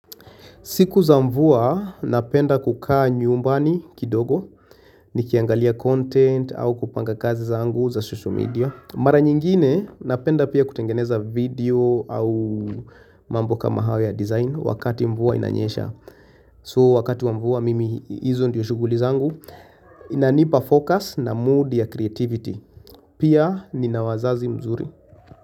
Siku za mvua napenda kukaa nyumbani kidogo nikiangalia content au kupanga kazi zangu za social media. Mara nyingine napenda pia kutengeneza video au mambo kama hayo ya design wakati mvua inanyesha. So wakati mvua mimi hizo ndizo shuguli zangu inanipa focus na mood ya creativity. Pia ninawazazi wazuri.